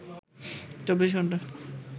24 ঘন্টা